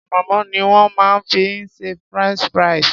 Ànàmọ́ ni wón má fi ń ṣe French fries.